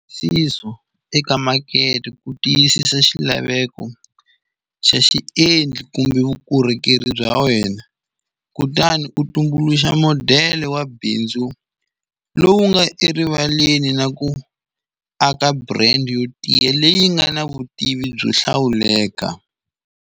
Sizo eka makete ku tiyisisa xilaveko xa xiendli kumbe vukorhokeri bya wena, kutani u tumbuluxa modele wa bindzu lowu nga erivaleni na ku aka brand yo tiya leyi nga na vutivi byo hlawuleka.